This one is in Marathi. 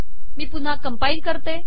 मी पुन्हा कंपाइल करते